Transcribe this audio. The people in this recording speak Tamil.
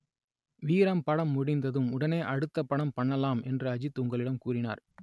வீரம் படம் முடிந்ததும் உடனே அடுத்தப் படம் பண்ணலாம் என்று அஜித் உங்களிடம் கூறினார்